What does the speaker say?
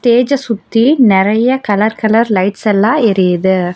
ஸ்டேஜ்ஜ சுத்தி நறைய colour colour lights எல்லா எரியுது.